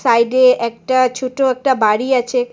সাইডে একটা ছোট একটা বাড়ি আছে।